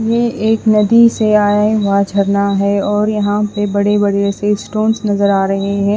ये एक नदी से आए हुआ झरना है और यहां पे बड़े बड़े से स्टोंस नजर आ रहे हैं।